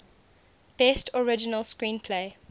best original screenplay